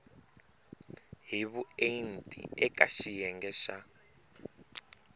hi vuenti eka xiyenge xa